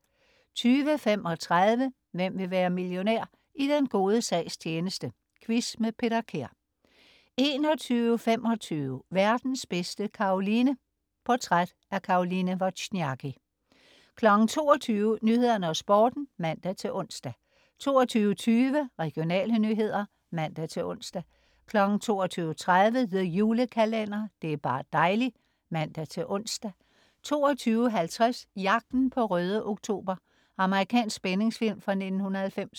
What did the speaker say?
20.35 Hvem vil være millionær? I den gode sags tjeneste. Quiz med Peter Kær 21.25 Verdens bedste Caroline. Portræt Caroline Wozniaki 22.00 Nyhederne og Sporten (man-ons) 22.20 Regionale nyheder (man-ons) 22.30 The Julekalender. Det er bar' dejli' (man-ons) 22.50 Jagten på Røde Oktober. Amerikansk spændingsfilm fra 1990